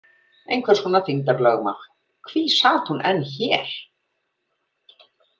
Einhvers konar þyngdarlögmál Hví sat hún enn hér?